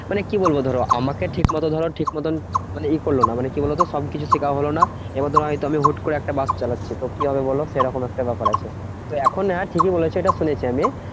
মানে কি বলবো? ধরো আমাকে ঠিক মতো ধরো ঠিক মতন মানে ই করলো না। মানে কি বলতো? সবকিছু শেখাও হলো না। এবার ধরো হয়তো আমি হুট্ করে একটা বাস চালাচ্ছি, তো কি হবে বোলো? সেরকম একটা ব্যাপার আছে। তো এখন হ্যাঁ ঠিকই বলেছো এটা শুনেছি আমি,